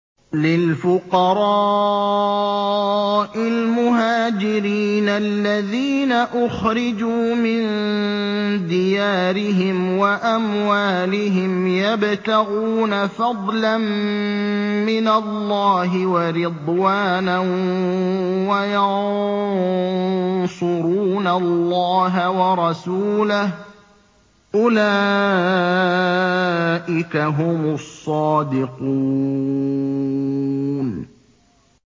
لِلْفُقَرَاءِ الْمُهَاجِرِينَ الَّذِينَ أُخْرِجُوا مِن دِيَارِهِمْ وَأَمْوَالِهِمْ يَبْتَغُونَ فَضْلًا مِّنَ اللَّهِ وَرِضْوَانًا وَيَنصُرُونَ اللَّهَ وَرَسُولَهُ ۚ أُولَٰئِكَ هُمُ الصَّادِقُونَ